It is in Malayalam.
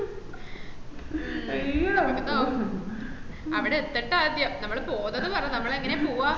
അവട എത്തട്ടെ ആത്യം നമ്മള് പോന്നത് പറ നമ്മളെ എങ്ങനെ പോവ